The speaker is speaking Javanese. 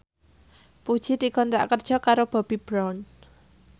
Puji dikontrak kerja karo Bobbi Brown